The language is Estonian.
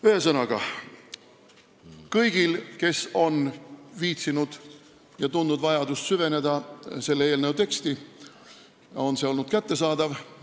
Ühesõnaga, kõigile, kes on viitsinud ja tundnud vajadust süveneda sellesse eelnõusse, on tekst kättesaadav olnud.